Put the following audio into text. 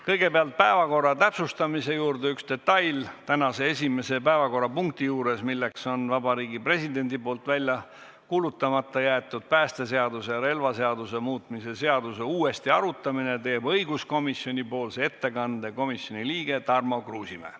Kõigepealt üks päevakorra täpsustamise detail: tänase esimese päevakorrapunkti puhul, milleks on Vabariigi Presidendi poolt välja kuulutamata jäetud päästeseaduse ja relvaseaduse muutmise seaduse uuesti arutamine, teeb õiguskomisjoni nimel ettekande komisjoni liige Tarmo Kruusimäe.